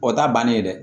O t'a bannen ye dɛ